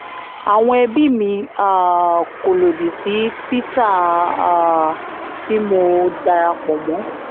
àwọn ẹbí mi um kò lódì sí títà um tí mo darapò mọ́